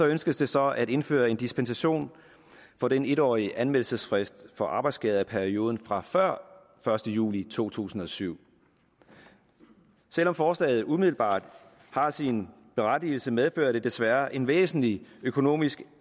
ønskes det så at indføre en dispensation for den en årige anmeldelsesfrist for arbejdsskader i perioden fra før første juli to tusind og syv selv om forslaget umiddelbart har sin berettigelse medfører det desværre en væsentlig økonomisk